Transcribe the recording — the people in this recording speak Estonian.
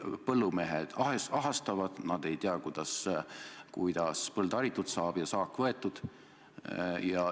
Põllumehed ahastavad, nad ei tea, kuidas põld haritud saab ja saak koristatud.